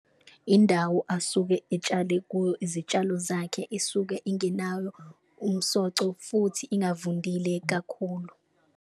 Indawo asuke etshale kuyo izitshalo zakhe isuke ingenawo umsoco futhi ingavundile kakhulu.